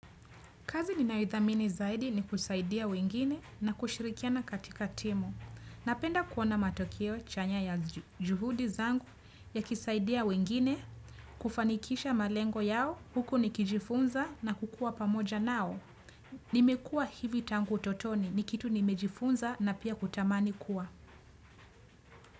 Kazi ninaithamini zaidi ni kusaidia wengine na kushirikiana katika timu. Napenda kuona matokeo chanya ya juhudi zangu yakisaidia wengine kufanikisha malengo yao huku nikijifunza na kukua pamoja nao. Nimekuwa hivi tangu utotoni ni kitu nimejifunza na pia kutamani kuwa.